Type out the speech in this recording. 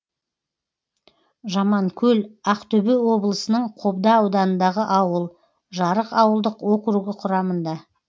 жаманкөл ақтөбе облысының қобда ауданындағы ауыл жарық ауылдық округі құрамында